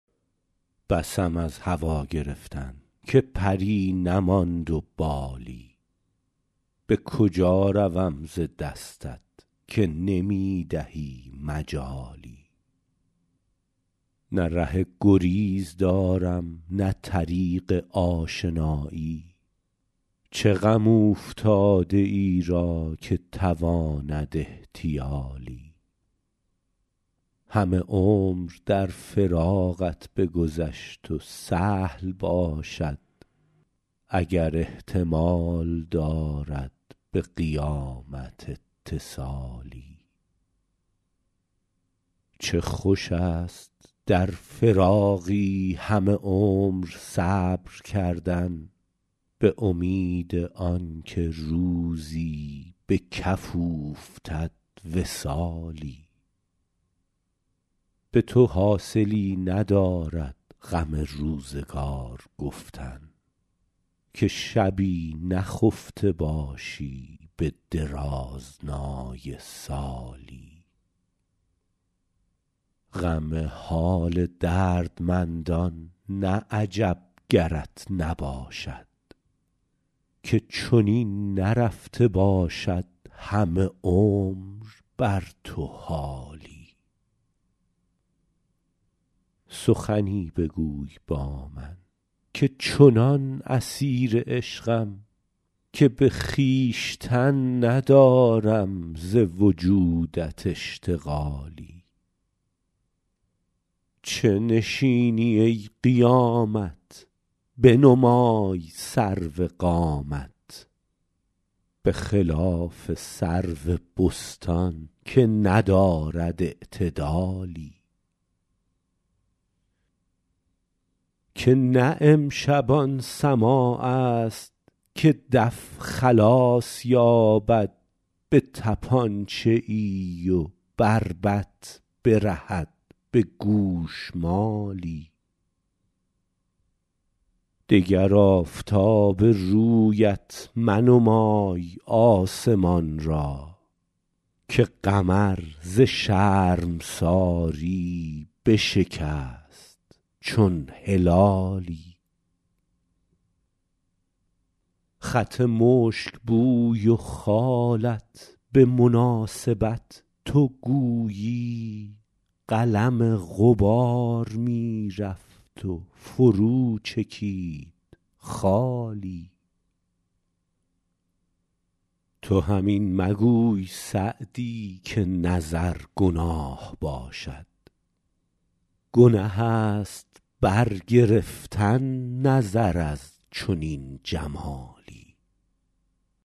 بسم از هوا گرفتن که پری نماند و بالی به کجا روم ز دستت که نمی دهی مجالی نه ره گریز دارم نه طریق آشنایی چه غم اوفتاده ای را که تواند احتیالی همه عمر در فراقت بگذشت و سهل باشد اگر احتمال دارد به قیامت اتصالی چه خوش است در فراقی همه عمر صبر کردن به امید آن که روزی به کف اوفتد وصالی به تو حاصلی ندارد غم روزگار گفتن که شبی نخفته باشی به درازنای سالی غم حال دردمندان نه عجب گرت نباشد که چنین نرفته باشد همه عمر بر تو حالی سخنی بگوی با من که چنان اسیر عشقم که به خویشتن ندارم ز وجودت اشتغالی چه نشینی ای قیامت بنمای سرو قامت به خلاف سرو بستان که ندارد اعتدالی که نه امشب آن سماع است که دف خلاص یابد به طپانچه ای و بربط برهد به گوشمالی دگر آفتاب رویت منمای آسمان را که قمر ز شرمساری بشکست چون هلالی خط مشک بوی و خالت به مناسبت تو گویی قلم غبار می رفت و فرو چکید خالی تو هم این مگوی سعدی که نظر گناه باشد گنه است برگرفتن نظر از چنین جمالی